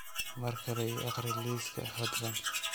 mar kale ii akhri liiskaas fadlan